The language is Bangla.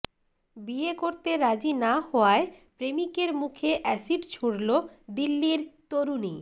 বিয়ে করতে রাজি না হওয়ায় প্রেমিকের মুখে অ্যাসিড ছুড়ল দিল্লির তরুণী